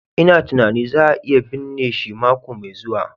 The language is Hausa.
lna tunanin za a iya binne shi mako mai zuwa.